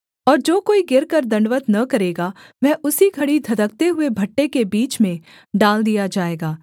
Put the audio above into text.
और जो कोई गिरकर दण्डवत् न करेगा वह उसी घड़ी धधकते हुए भट्ठे के बीच में डाल दिया जाएगा